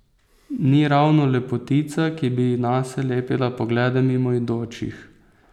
Ni ravno lepotica, ki bi nase lepila poglede mimoidočih.